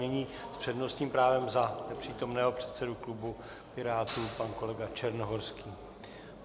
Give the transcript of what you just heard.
Nyní s přednostním právem za nepřítomného předsedu klubu Pirátů pan kolega Černohorský.